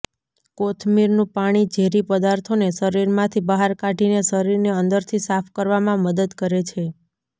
કોથમીરનું પાણી ઝેરી પદાર્થોને શરીરમાંથી બહાર કાઢીને શરીરને અંદરથી સાફ કરવામાં મદદ કરે છે